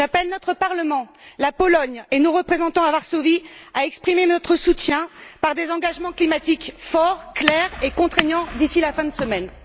J'appelle notre Parlement, la Pologne et nos représentants à Varsovie à exprimer notre soutien par des engagements climatiques forts, clairs et contraignants d'ici la fin de la semaine.